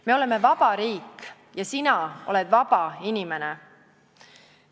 Me oleme vaba riik ja sina oled vaba inimene.